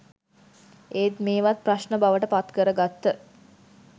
ඒත් මේවත් ප්‍රශ්න බවට පත්කරගත්ත